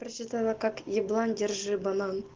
прочитала как еблан держи банан